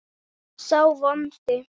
sá vondi